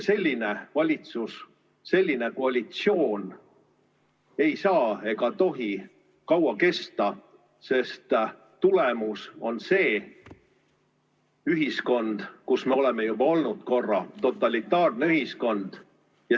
Selline valitsus, selline koalitsioon ei saa ega tohi kaua kesta, sest tulemus on see ühiskond, kus me oleme korra juba olnud – totalitaarne ühiskond.